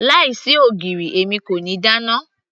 láì sí ogiri èmi kò ní dáná